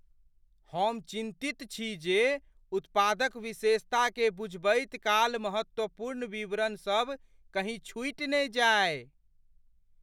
हम चिन्तित छी जे उत्पादक विशेषताकेँ बुझबैत काल महत्वपूर्ण विवरण सब कहीँ छुटि ने जाए।